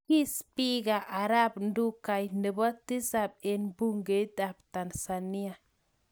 Kii spika arap Ndugai nebo tisap eng bungeit ab tanzania